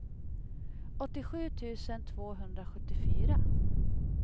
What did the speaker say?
åttiosju tusen tvåhundrasjuttiofyra